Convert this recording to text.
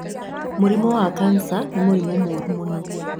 Mũrimũ wa kanja ni mũrimũ mũru mũno